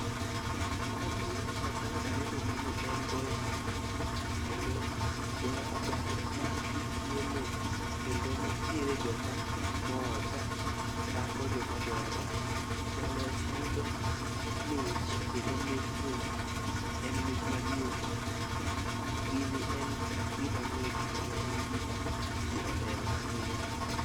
Gima biro e pacha ka aneno gini en goyo abal kendo goyo abal ma jii pieme kendo nitiere joma mor ka pako joma goya bal. Jaloch yudo mich kendo mich ni en mich maduong'. Gini en gima mit kendo en gima jii ohero ahinya.